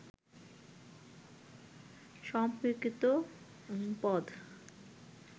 সম্পর্কিত পদ